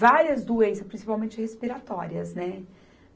várias doenças, principalmente respiratórias, né?